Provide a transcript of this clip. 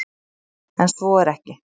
En svo er ekki.